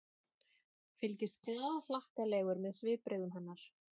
Fylgist glaðhlakkalegur með svipbrigðum hennar.